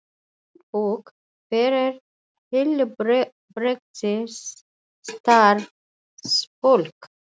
Handbók fyrir heilbrigðisstarfsfólk.